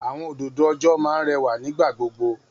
Àwọn òdòdó ọjọ́ máa ń rẹwà nígbà gbogbo.